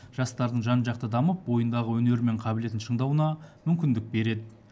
жастардың жан жақты дамып бойындағы өнері мен қабілетін шыңдауына мүмкіндік береді